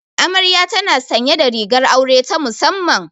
Amarya tana sanye da rigar aure ta musamman.